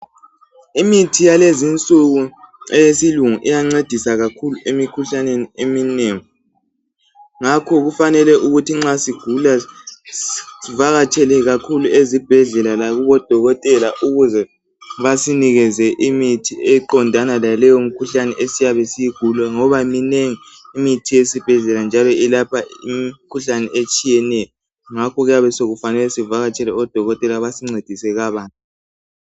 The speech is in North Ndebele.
Imithi yakulezinsuku eyesilungu iyancedisa kakhulu emikhuhlaneni eminengi, ngakho kufanele ukuthi nxa sigula sivakatshele kakhulu ezibhedlela lakubodokotela ukuze basinikeze imithi eqondana laleyo mkhuhlane esiyabe siyigula ngoba minengi imithi yesibhedlela njalo ilapha imkhuhlane etshiyeneyo. Ngakho kuyabe sekufanele sivakatshele odokotela basincedise kabanzi.